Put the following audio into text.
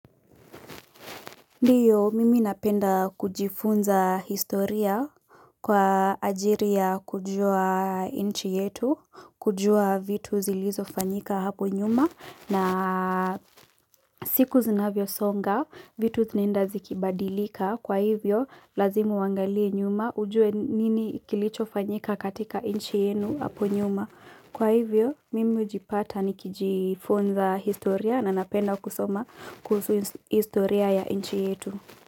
Ndiyo mimi napenda kujifunza historia kwa ajili ya kujua inchi yetu, kujua vitu zilivyofanyika hapo nyuma na siku zinavyo songa vitu zinenda zikibadilika kwa hivyo lazimu wangalie nyuma ujue nini kilichofanyika katika inchi yenu hapo nyuma. Kwa hivyo mimi hujipata nikijifunza historia na napenda kusoma kuhusu historia ya inchi yetu.